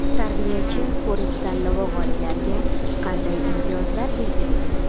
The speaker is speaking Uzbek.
"Tarbiyachi" ko‘rik-tanlovi g‘oliblariga qanday imtiyozlar belgilangan?.